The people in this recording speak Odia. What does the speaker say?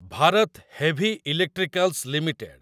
Bharat Heavy Electricals limited